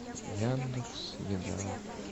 яндекс еда